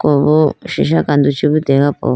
pubo sisha kandu chibu deya po.